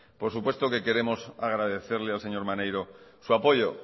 por supuesto que queremos agradecerle al señor maneiro su apoyo